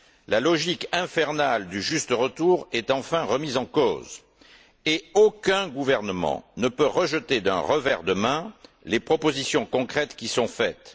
La logique infernale du juste retour est enfin remise en cause et aucun gouvernement ne peut rejeter d'un revers de main les propositions concrètes qui sont faites.